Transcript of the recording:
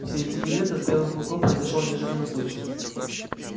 в середине лета с белым клыком произошёл неожиданный случай